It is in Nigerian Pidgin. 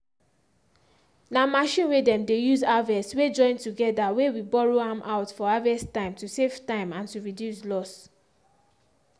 na machine way dem dey use harvest way join together way we borrow am out for harvest time to save time and to reduce loss.